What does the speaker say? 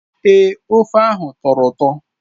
Èé, ofe ahụ tọrọ ụtọ.